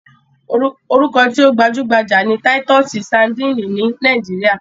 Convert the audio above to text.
Orúkọ tí ó gbajúgbajà ni Táítọ́sí sadíìnì ní Nàíjíríà.